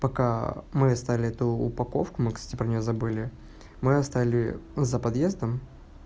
пока мы оставили эту упаковку мы кстати про него забыли мы оставили за подъездом